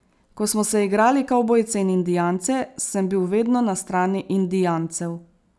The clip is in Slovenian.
Ko smo se igrali kavbojce in indijance, sem bil vedno na strani indijancev.